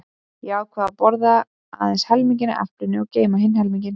Ég ákvað að borða aðeins helminginn af eplinu og geyma hinn helminginn.